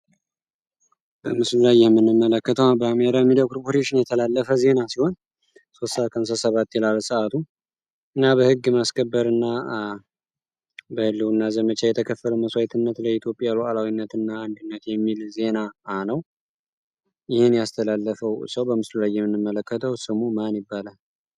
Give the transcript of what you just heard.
በምስሉላይህምንመለከተዋ በአሜራ የሚደው ክርፖቴሽን የተላለፈ ዜና ሲሆን ሶሳ ከንሰ ሰባት የላለ ሰዓቱ እና በሕግ ማስከበርና በህልው እና ዘመቻ የተከፍር መሷይትነት ለኢትዮጵያ ውዕላዊነትእና አንድነት የሚል ዜናአ ነው ይህን ያስተላለፈው ሰው በምስሉላይምንመለከተው ስሙ ማን ይባላል?